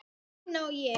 Steina og ég.